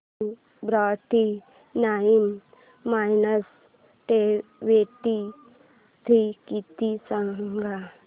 to forty nine minus twenty three किती गं